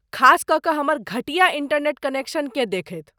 खास कऽ कऽ हमर घटिया इंटरनेट कनेक्शनकेँ देखैत।